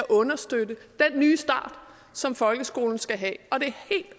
understøtte den nye start som folkeskolen skal have